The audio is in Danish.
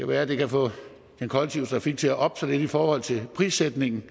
være at det kan få den kollektive trafik til at oppe sig lidt i forhold til prissætningen